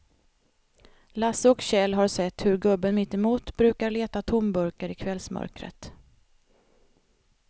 Lasse och Kjell har sett hur gubben mittemot brukar leta tomburkar i kvällsmörkret.